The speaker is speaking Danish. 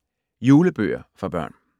Julebøger for børn